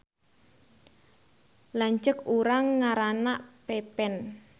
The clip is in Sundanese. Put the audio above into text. Lanceuk urang ngaranna Pepen